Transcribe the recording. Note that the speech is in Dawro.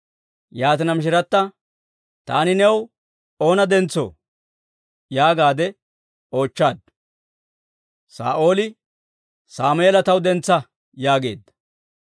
Yaatina, Mishirata, «Taani new oona dentsoo?» yaagaadde oochchaaddu. Saa'ooli, «Sammeela taw dentsa» yaageedda.